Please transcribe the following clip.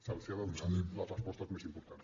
se’ls ha de donar les respostes més importants